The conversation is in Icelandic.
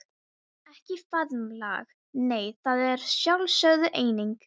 Ekki faðmlag nei, það er sjálfsögð eining.